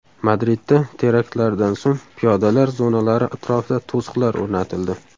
Madridda teraktlardan so‘ng piyodalar zonalari atrofida to‘siqlar o‘rnatildi.